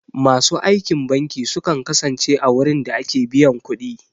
Masu aikin banki sukan kasance a wurin da ake biyan ƙudi